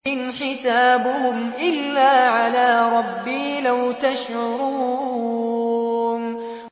إِنْ حِسَابُهُمْ إِلَّا عَلَىٰ رَبِّي ۖ لَوْ تَشْعُرُونَ